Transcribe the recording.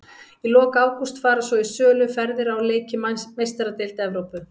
Í lok ágúst fara svo í sölu ferðir á leiki í Meistaradeild Evrópu.